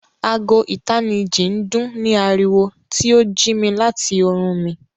Àágò̀ ìtànìjì ń dún ní aríwọ, tí o jí mi láti orún mi.